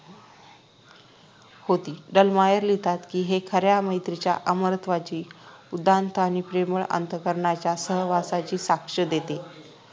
होती डॅलमायर लिहितात कि हे खऱ्या मैत्रीच्या अमरत्वाची उदात्त आणि प्रेमळ अंतः करणाच्या सहवासाची साक्ष देते